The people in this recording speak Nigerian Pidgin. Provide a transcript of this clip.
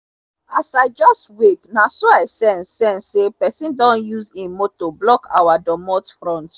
as i just wake naso i sense sense say pesin don use him moto block our dootmot front